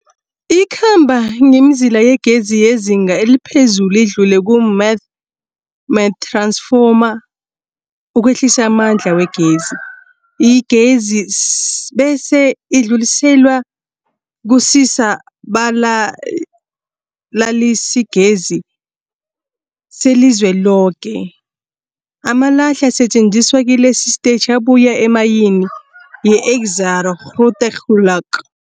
Ikhamba ngemizila yegezi yezinga eliphezulu idlule kumamath-ransfoma ukwehlisa amandla wegezi. Igezi bese idluliselwa kusisa-balalisigezi selizweloke. Amalahle asetjenziswa kilesi sitetjhi abuya emayini yeExxaro's Grootegeluk.